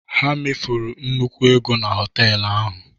Ha mefuru nnukwu ego na họtel ahụ.